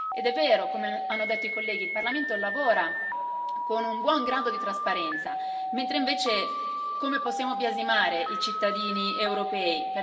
Ed è vero, come hanno detto i colleghi, il Parlamento lavora con un buon grado di trasparenza, mentre invece come possiamo biasimare i cittadini europei?